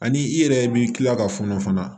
Ani i yɛrɛ b'i kila ka fɔnɔ fana